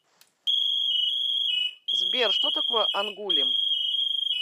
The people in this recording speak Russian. сбер что такое ангулем